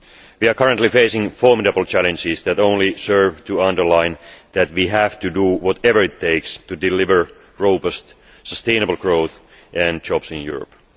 We are currently facing formidable challenges that only serve to underline that we have to do whatever it takes to deliver robust, sustainable growth and jobs in Europe.